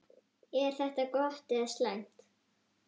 Er þetta gott eða slæmt?